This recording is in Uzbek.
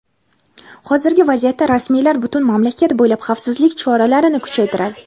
hozirgi vaziyatda rasmiylar butun mamlakat bo‘ylab xavfsizlik choralarini kuchaytiradi.